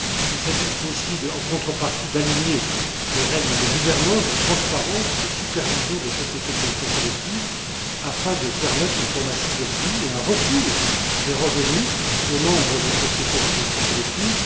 Il s'agit aussi, en contrepartie, d'aligner les règles de gouvernance, de transparence, de supervision des sociétés de gestion collective afin de permettre une formation des prix et un retour des revenus plus transparents aux membres des sociétés de gestion collective.